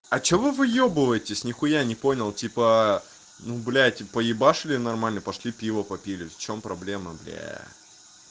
а чего вы выёбывается нихуя не понял типа ну блять поработали нормально пошли пиво попили в чём проблема бля